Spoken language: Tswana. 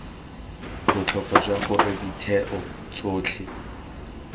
botlhokwa jwa gore ditheo tsotlhe